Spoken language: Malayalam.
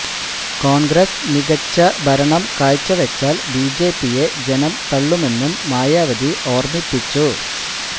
കോണ്ഗ്രസ് മികച്ച ഭരണം കാഴ്ചവെച്ചാല് ബിജെപിയെ ജനം തള്ളുമെന്നും മായാവതി ഓര്മിപ്പിച്ചു